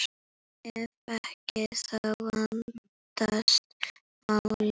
Ef ekki, þá vandast málin.